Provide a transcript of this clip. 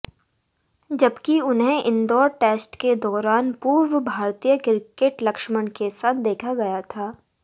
जबकि उन्हें इंदौर टेस्ट के दौरान पूर्व भारतीय क्रिकेट लक्ष्मण के साथ देखा गया था